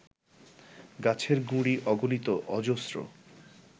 গাছের গুঁড়ি অগণিত অজস্র